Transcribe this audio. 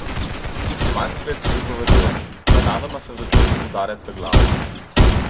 Manfred pripoveduje: "Nenadoma sem začutil udarec v glavo.